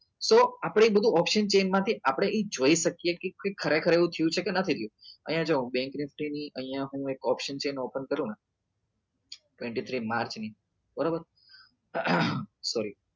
so આપડે એ બધું chain માંથી આપડે એ જોઈ શકીએ કે ખરેખર એવું થયું છે કે નથી થયું અહિયાં જો હું એક bank nifty ની એક option chain open કરું ને twenty three march ની બરોબર sorry